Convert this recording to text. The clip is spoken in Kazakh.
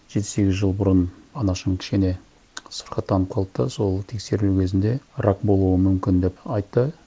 жеті сегіз жыл бұрын анашым кішкене сырқаттанып қалды да сол тексерілу кезінде рак болуы мүмкін деп айтты